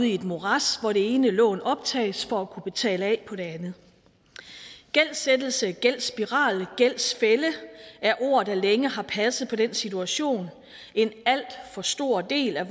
i et morads hvor det ene lån optages for at kunne betale af på det andet gældsættelse gældsspiral og gældsfælde er ord der længe har passet på den situation en alt for stor del af